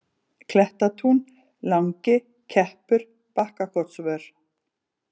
Klettatún, Langi, Keppur, Bakkakotsvör